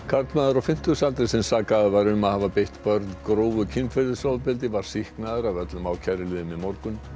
karlmaður á fimmtugsaldri sem sakaður var um að hafa beitt börn grófu kynferðisofbeldi var sýknaður af öllum ákæruliðum í morgun